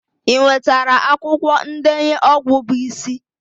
Ị nwetara akwụkwọ ndenye ọgwụ bụ isi?